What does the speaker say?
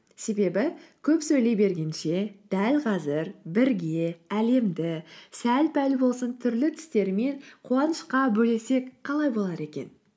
себебі көп сөйлей бергенше дәл қазір бірге әлемді сәл пәл болсын түрлі түстер мен қуанышқа бөлесек қалай болар екен